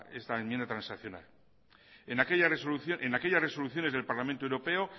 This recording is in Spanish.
esta enmienda transaccional en aquellas resoluciones del parlamento europeo